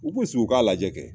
U k'u sigi u k'a lajɛ kɛ